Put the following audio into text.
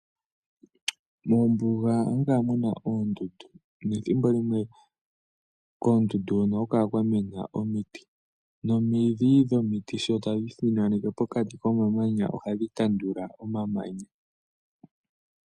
Mombuga ohamu kala muna oondundu, nethimbo limwe koondundu hono ohaku kala kwa mena omiti. Nomidhi dhomiti sho tadhi ithinaneke pokati komamanya ohadhi tandula omamanya.